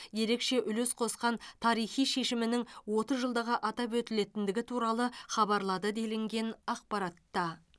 ерекше үлес қосқан тарихи шешімінің отыз жылдығы атап өтілетіндігі туралы хабарлады делінген ақпаратта